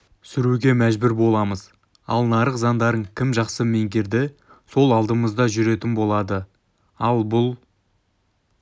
сүруге мәжбүр боламыз ал нарық заңдарын кім жақсы меңгерді сол алдымызда жүретін болады ал бұл